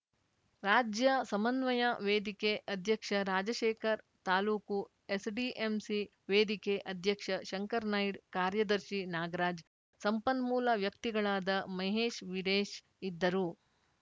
ರಾಜ್ಯ ಸಮನ್ವಯ ವೇದಿಕೆ ಅಧ್ಯಕ್ಷ ರಾಜಶೇಖರ್‌ ತಾಲೂಕು ಎಸ್‌ಡಿಎಂಸಿ ವೇದಿಕೆ ಅಧ್ಯಕ್ಷ ಶಂಕರನಾಯ್ಡ್ ಕಾರ್ಯದರ್ಶಿ ನಾಗರಾಜ್‌ ಸಂಪನ್ಮೂಲ ವ್ಯಕ್ತಿಗಳಾದ ಮಹೇಶ್‌ ವೀರೇಶ್‌ ಇದ್ದರು